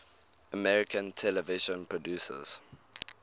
american television producers